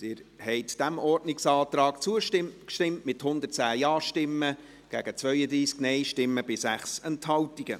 Sie haben diesem Ordnungsantrag zugestimmt, mit 110 Ja- gegen 32 Nein-Stimmen bei 6 Enthaltungen.